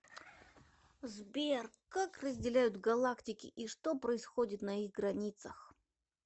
сбер как разделяют галактики и что происходит на их границах